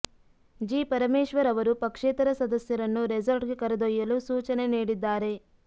G Parameshwar ಅವರು ಪಕ್ಷೇತರ ಸದಸ್ಯರನ್ನು ರೆಸಾರ್ಟ್ಗೆ ಕರೆದೊಯ್ಯಲು ಸೂಚನೆ ನೀಡಿದ್ದಾರೆ